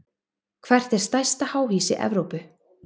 Hvert er stærsta háhýsi í Evrópu?